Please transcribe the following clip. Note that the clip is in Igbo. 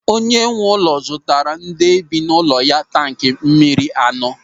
Onye nwe ụlọ zụtara ndị bi n'ụlọ ya tanki mmiri anọ.